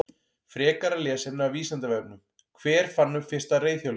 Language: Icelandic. Frekara lesefni af Vísindavefnum: Hver fann upp fyrsta reiðhjólið?